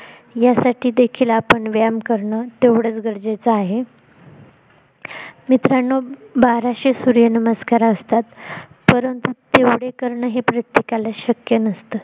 यासाठी देखील आपण व्यायाम करणं तेवढंच गरजेच आहे मित्रांनो बाराशे सूर्य नमस्कार असतात परंतु तेवढ करणं हे प्रत्येकाला शक्य नसतं